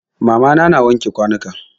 Mama na na wanke kwanuka.